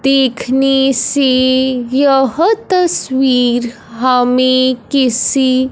देखने से यह तस्वीर हमें किसी--